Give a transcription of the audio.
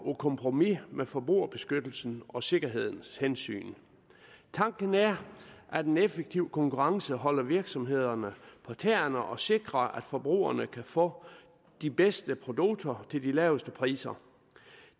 kompromis med forbrugerbeskyttelsen og sikkerhedshensynet tanken er at en effektiv konkurrence holder virksomhederne på tæerne og sikrer at forbrugerne kan få de bedste produkter til de laveste priser